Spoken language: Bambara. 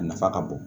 A nafa ka bon